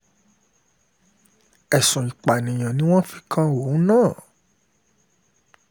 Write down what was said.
ẹ̀sùn ìpànìyàn ni wọ́n fi um kan òun náà